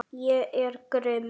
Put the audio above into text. Ég er grimm.